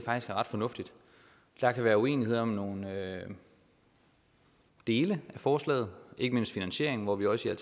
ret fornuftigt der kan være uenighed om nogle dele af forslaget ikke mindst finansieringen hvor vi også